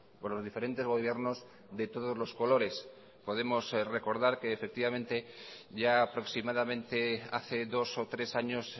por los diferentes gobiernos de todos los colores podemos recordar que efectivamente ya aproximadamente hace dos o tres años